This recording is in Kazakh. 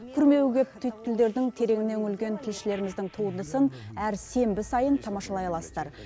күрмеуі көп түйткілдердің тереңіне үңілген тілшілеріміздің туындысын әр сенбі сайын тамашалай аласыздар